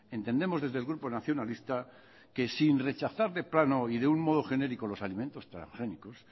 entendemos desde el grupo nacionalista que sin rechazar de plano y de un modo genérico los alimentos transgénicos